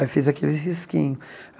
Aí fiz aquele risquinho.